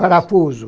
Parafuso.